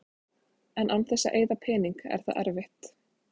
En án þess að eyða pening er það erfitt.